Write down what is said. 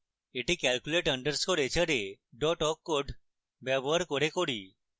এটি calculate _ hra awk code ব্যবহার করে করি